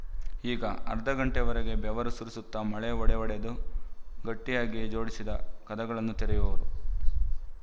ಈಗ ಅರ್ಧ ಗಂಟೆಯ ವರೆಗೆ ಬೆವರು ಸುರಿಸುತ್ತ ಮೊಳೆ ಹೊಡೆಹೊಡೆದು ಗಟ್ಟಿಯಾಗಿ ಜೋಡಿಸಿದ ಕದಗಳನ್ನು ತೆರೆಯುವದು